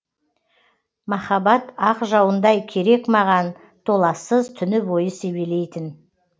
маһаббат ақ жауындай керек маған толассыз түні бойы себелейтін